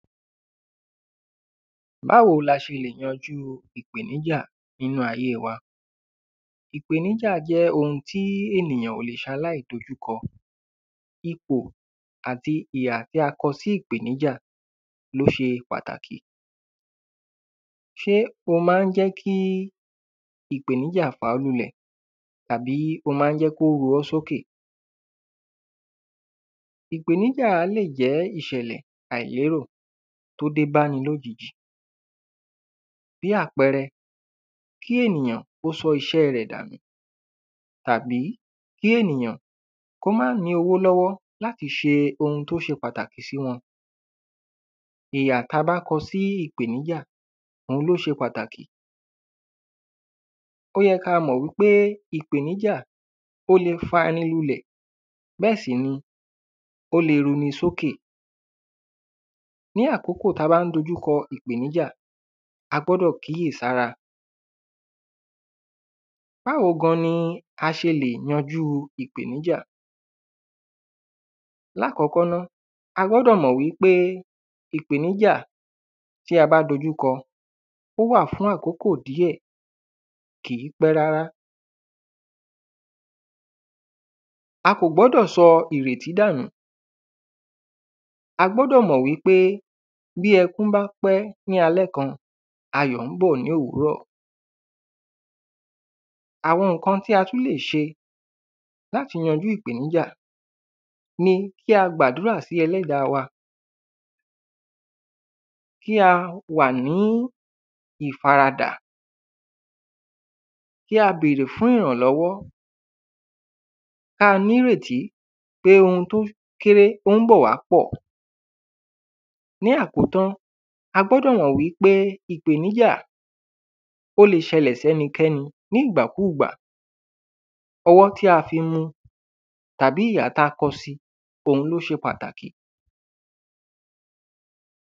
Báwo la ṣe le yanjú ìpèníjà nínú ayé wa. Ìpèníjà jẹ́ ohun tí ènìyàn ò le ṣaláì má dojúkọ ipò àti ìhà tí a kọ sí ìpèníjà ló ṣe pàtàkì. Ṣé o má ń jẹ́ kí ìpèníjà fà ọ́ lulẹ̀ àbí o má ń jẹ́ kí ó ru ọ́ sókè? Ìpèníjà lè jẹ́ ìṣẹ̀lẹ̀ àìlérò tó dé báni lójijì bí àpẹrẹ kí ènìyàn kó sọ iṣẹ́ rẹ̀ dànù tàbí kí ènìyàn kó má ní owó lọ́wọ́ láti ṣe ohun tó ṣe pàtàkì sí wọn ìhà tá bá kọ sí ìpèníjà òhun ló ṣe pàtàkì. Ó yẹ ká mọ̀ wípé ìpèníjà ó le fani lulẹ̀ bẹ́ẹ̀ sì ni ó le runi sókè Ní àkókò tá bá ń dojú kọ ìpèníjà a gbọ́dọ̀ kíyèsára. Báwo gan ni a ṣe lè yanjú ìpèníjà? Àkọ́kọ́ náà a gbọ́dọ̀ mọ̀ wípé ìpèníjà tí a bá dojú kọ ó wà fún àkókò díẹ̀ kìí pẹ́ rárá. A kò gbọ́dọ̀ sọ ìrètí dànù a gbọ́dọ̀ mọ̀ wípé bí ẹkún bá pẹ́ ní alẹ́ kan ayọ̀ ń bọ̀ ní òwúrọ̀. Àwọn nǹkan tí a tún lè ṣe láti yanjú ìpèníjà ni kí a gbàdúrà sí ẹlẹ́dà wa. Kí a wà ní ìfaradà kí a bèrè fún ìrànlọ́wọ́ ká nírètí pé ohun tó kéré ó ń bọ̀ wá pọ̀. Ní àkótán a gbọ́dọ̀ mọ̀ wípé ìpèníjà ó le ṣẹlẹ̀ sẹ́nikẹ́ni ní ìgbàkúgbà ọwọ́ tí a fi mú tàbí ìhà tí a kọ́ sí òhun ló ṣe pàtàkì.